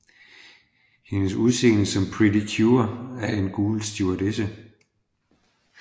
Hendes udseende som Pretty Cure er en gul stewardesse